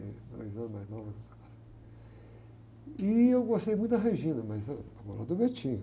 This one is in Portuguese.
Dois anos mais nova. E eu gostei muito da, mas a namorada do.